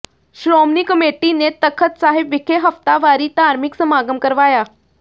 Shiromani committee ਨੇ ਤਖ਼ਤ ਸਾਹਿਬ ਵਿਖੇ ਹਫ਼ਤਾਵਾਰੀ ਧਾਰਮਿਕ ਸਮਾਗਮ ਕਰਵਾਇਆ